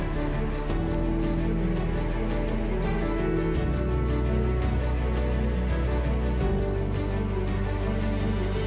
Böyük nəqliyyat, logistika potensialına malik olan Füzuli Qarabağ və Şərqi Zəngəzur iqtisadi rayonlarının əsas nəqliyyat arteriyalarının kəsişməsində yerləşir.